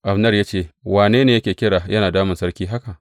Abner ya ce, Wane ne yake kira yana damun sarki haka?